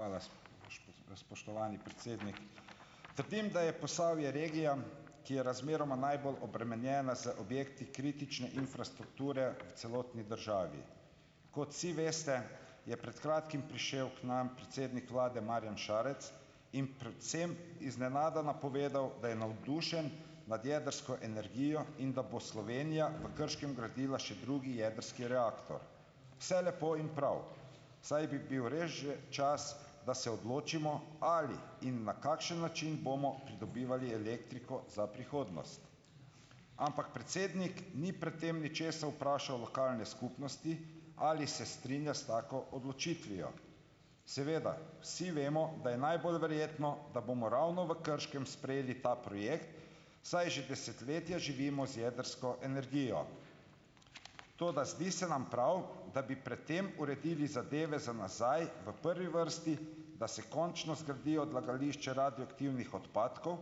Hvala, spoštovani predsednik. Trdim, da je Posavje regija, ki je razmeroma najbolj obremenjena z objekti kritične infrastrukture v celotni državi. Kot vsi veste, je pred kratkim prišel k nam predsednik vlade Marjan Šarec in predvsem iznenada napovedal, da je navdušen nad jedrsko energijo in da bo Slovenija v Krškem gradila še drugi jedrski reaktor. Vse lepo in prav, saj bi bil res že čas, da se odločimo, ali in na kakšen način bomo pridobivali elektriko za prihodnost. Ampak predsednik ni pred tem ničesar vprašal lokalne skupnosti - ali se strinja s tako odločitvijo. Seveda, vsi vemo, da je najbolj verjetno, da bomo ravno v Krškem sprejeli ta projekt, saj že desetletja živimo z jedrsko energijo. Toda zdi se nam prav, da bi pred tem uredili zadeve za nazaj v prvi vrsti, da se končno zgradi odlagališče radioaktivnih odpadkov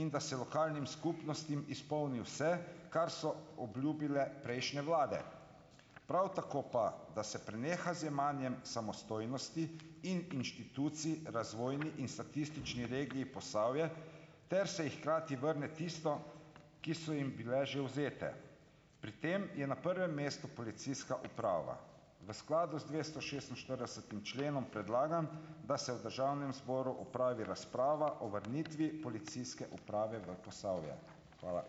in da se lokalnim skupnostim izpolni vse, kar so obljubile prejšnje vlade. Prav tako pa, da se preneha z jemanjem samostojnosti in inštitucij razvojni in statistični regiji Posavje ter se ji hkrati vrne tiste, ki so jim bile že vzete. Pri tem je na prvem mestu policijska uprava. V skladu z dvestošestinštiridesetim členom predlagam, da se v državnem zboru opravi razprava o vrnitvi policijske uprave v Posavje. Hvala.